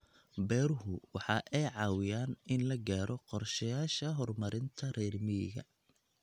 Beeruhu waxa ay caawiyaan in la gaadho qorshayaasha horumarinta reer miyiga.